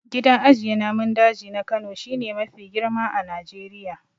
Gidan ajiye namun daji na Kano shi ne mafi girma a Najeriya.